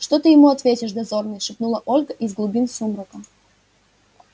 что ты ему ответишь дозорный шепнула ольга из глубин сумрака